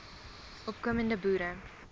opko mende boere